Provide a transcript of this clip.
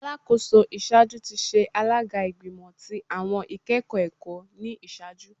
Alakoso iṣaaju ti ṣe alaga Igbimọ ti Awọn Ikẹkọ Ẹkọ ni iṣaaju